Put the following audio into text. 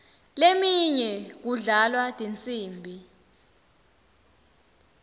leminye kudlalwa tinsimbi